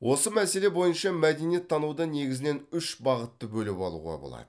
осы мәселе бойынша мәдениеттануда негізінен үш бағытты бөліп алуға болады